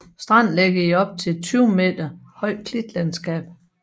Stranden ligger op til et op til 20 meter højt klitlandskab